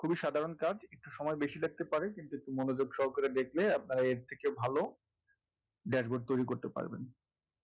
খুবই সাধারণ কাজ একটু সময় বেশি লাগতে পারে কিন্তু মনোযোগ সহকারে দেখলে আপনার এর থেকে ভালো dashboard তৈরি করতে পারবেন